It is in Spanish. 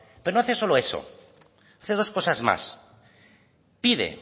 pero no hace solo eso hace dos cosas más pide